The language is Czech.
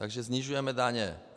Takže snižujeme daně.